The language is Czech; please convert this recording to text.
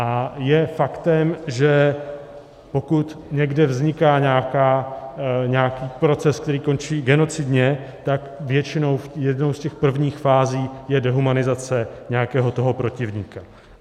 A je faktem, že pokud někde vzniká nějaký proces, který končí genocidně, tak většinou jednou z těch prvních fází je dehumanizace nějakého toho protivníka.